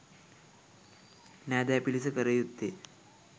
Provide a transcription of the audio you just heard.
නෑදෑ පිරිස කළ යුත්තේ